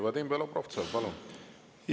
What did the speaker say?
Vadim Belobrovtsev, palun!